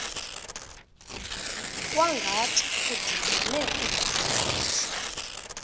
kwangathi kudibene ugoliyathi